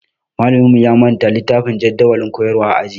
Malaminmu ya manta littafin jadawalin koyarwa a aji